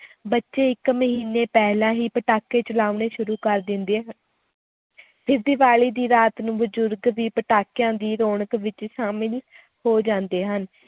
ਬੱਚੇ ਇੱਕ ਮਹੀਨੇ ਪਹਿਲਾਂ ਹੀ ਪਟਾਕੇ ਚਲਾਉਣੇ ਸ਼ੁਰੂ ਕਰ ਦਿੰਦੇ ਹ~ ਫਿਰ ਦੀਵਾਲੀ ਦੀ ਰਾਤ ਨੂੰ ਬਜ਼ੁਰਗ ਵੀ ਪਟਾਕਿਆਂ ਦੀ ਰੌਣਕ ਵਿੱਚ ਸ਼ਾਮਲ ਹੋ ਜਾਂਦੇ ਹਨ।